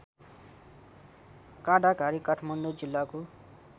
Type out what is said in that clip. काँडाघारी काठमाडौँ जिल्लाको